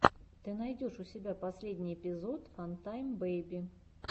ты найдешь у себя последний эпизод фантайм бэйби